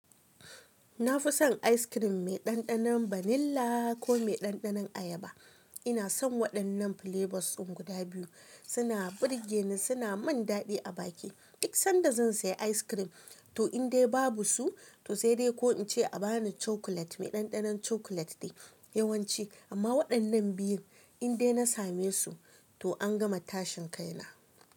Na fi son ice cream mai ɗanɗanon vanilla ko mai ɗanɗanon ayaba. Ina son waɗannan flavors ɗin guda biyu. Suna burge ni, suna min daɗi a baki. Duk sanda zan saya ice cream, to in dai babu su, to sai dai ko in ce a ba ni chocolate mai ɗanɗanon chocolate ne yawanci. Amma waɗannan biyun in dai na same su, to an gama tashin kai na.